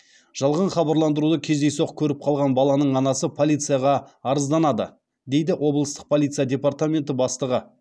жалған хабарландыруды кездейсоқ көріп қалған баланың анасы полицияға арызданды дейді облыстық полиция департаменті бастығы